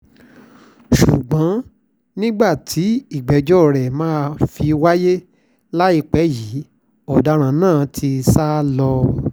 ṣùgbọ́n nígbà tí ìgbẹ́jọ́ rẹ máa fi wáyé láìpẹ́ yìí ọ̀daràn náà ti sá lọ